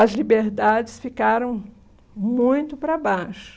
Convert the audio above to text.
as liberdades ficaram muito para baixo.